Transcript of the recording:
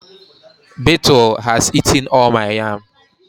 Beetle has eaten all my yam